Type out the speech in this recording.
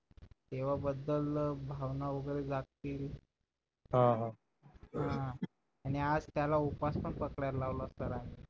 तेव्हा बद्दल भावना वगैरे जागतील हो हो हा आणि आज त्याला उपवास पण पकडायला लावला सर आम्ही